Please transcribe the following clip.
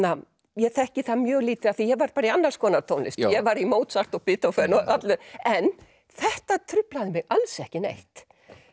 ég þekki það mjög lítið af því ég var bara í annars konar tónlist ég var í Mozart og Beethoven og öllu en þetta truflaði mig alls ekki neitt